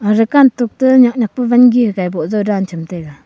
rakan tok ta nyak nyak pa van gi hagai boh zao dan cham taega.